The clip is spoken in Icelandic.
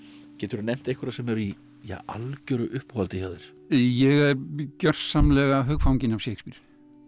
geturðu nefnt einhverja sem eru í algjöru uppáhaldi hjá þér ég er gjörsamlega hugfanginn af Shakespeare